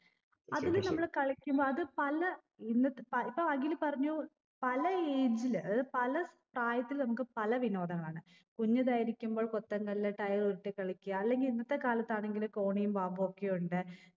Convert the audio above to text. അതില് നമ്മള് കളിക്കുമ്പോ അത് പല ഇന്നത്തെ പ ഇപ്പൊ അഖിൽ പറഞ്ഞു പല age ൽ അതത് പല സ്ഥായത്തിൽ നമുക്ക് പല വിനോദങ്ങളാണ് കുഞ്ഞതായിരിക്കുമ്പോൾ കൊത്തങ്കല്ല് tire ഉരുട്ടി കളിക്ക അല്ലെങ്കി ഇന്നത്തെ കാലത്താണെങ്കില് കോണിയും പാമ്പൊക്കെ ഉണ്ട്